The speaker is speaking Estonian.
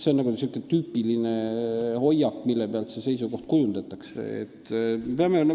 See on sihukene tüüpiline hoiak, mille pealt neid seisukohti kujundatakse.